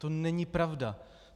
To není pravda.